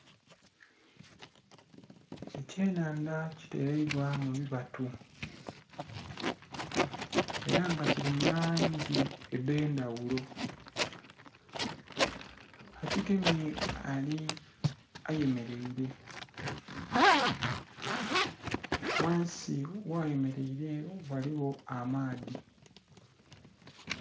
Ekyenhandha kiteleibwa mu bibatu ela nga kili mu langi edh'endhaghulo, akigemye ayemeleile, ghansi gh'ayemeleile ghaligho amaadhi.